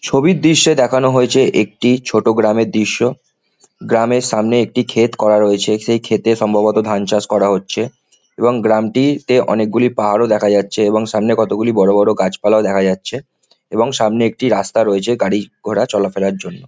ছবির দৃশ্যে যেখানে হয়েছে একটি ছোট গ্রামের দৃশ্য। ] গ্রামের সামনে একটি ক্ষেত করা রয়েছে। সেই ক্ষেতে সম্ভবত ধান চাষ করা হচ্ছে এবং গ্রামটি তে অনেকগুলি পাহাড়ও দেখা যাচ্ছে এবং সামনে কতগুলি বড়ো বড়ো গাছপালাও দেখা যাচ্ছে এবং সামনে একটি রাস্তা রয়েছে গাড়ি ঘোড়া চলাফেরার জন্য।